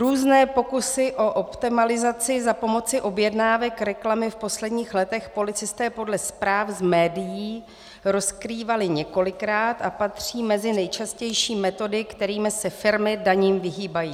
Různé pokusy o optimalizaci za pomoci objednávek reklamy v posledních letech policisté podle zpráv z médií rozkrývali několikrát a patří mezi nejčastější metody, kterými se firmy daním vyhýbají.